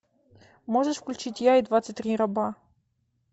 можешь включить я и двадцать три раба